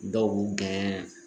Dɔw b'u gɛn